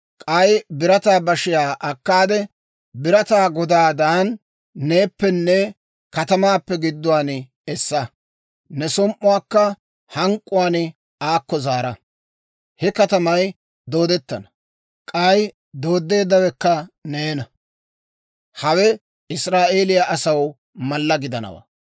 K'ay birataa bashiyaa akkaade, birataa godaadan neeppenne katamaappe gidduwaan essa. Ne som"uwaakka hank'k'uwaan aakko zaara. He katamay doodettana; k'ay dooddeeddawekka neena. Hawe Israa'eeliyaa asaw mallaa gidanawaa.